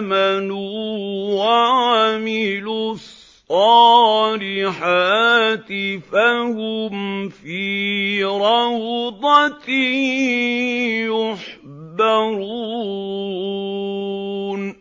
آمَنُوا وَعَمِلُوا الصَّالِحَاتِ فَهُمْ فِي رَوْضَةٍ يُحْبَرُونَ